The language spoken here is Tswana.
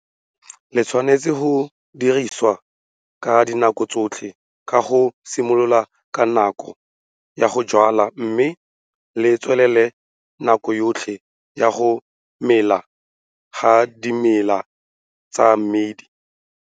Le tshwanetse go dirisiwa ka dinako tsotlhe ka go simolola ka nako ya go jwala mme le tswelele nako yotlhe ya go mela ga dimela tsa mmidi.